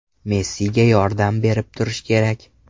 Messiga yordam berib turish kerak.